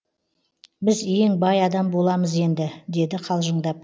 біз ең бай адам боламыз енді деді қалжыңдап